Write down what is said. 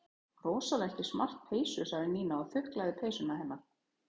Rosalega ertu í smart peysu sagði Nína og þuklaði peysuna hennar.